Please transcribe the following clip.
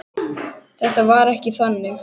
Þetta var ekki þannig.